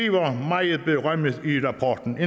eu berømmet i rapporten